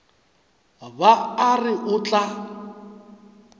ba a re o tla